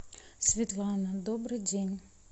светлана добрый день